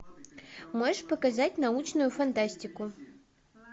можешь показать научную фантастику